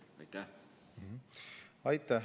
Aitäh!